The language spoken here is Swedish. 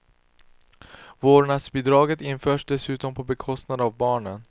Vårdnadsbidraget införs dessutom på bekostnad av barnen.